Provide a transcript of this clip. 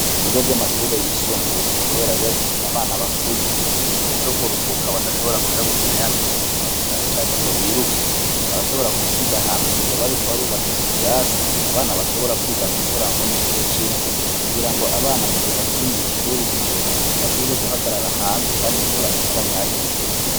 Ibigo vy'amashuri yisumbuye, kubera bibafise abana bakuze mu gihe co kuruhuka badashobora kuja gukina ya mikino gitandukanyo canke ngo biruke barashobora gusiga ahantu mugebo ari ko barubaka ibirasi abana bashobora kwugama imvura nko mu gihe c'imvura kugira ngo abana mugihe batari mw'ishuri imbere bashobore guhagarara hanze, kandi imvura itabanyagira.